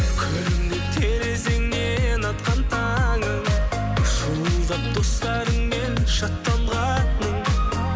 күлімдеп терезеңнен атқан таңым шуылдап достарыңмен шаттанғаның